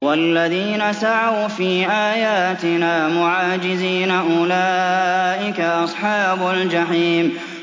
وَالَّذِينَ سَعَوْا فِي آيَاتِنَا مُعَاجِزِينَ أُولَٰئِكَ أَصْحَابُ الْجَحِيمِ